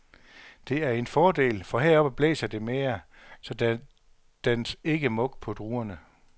Det er en fordel, for heroppe blæser det mere, så der dannes ikke mug på druerne.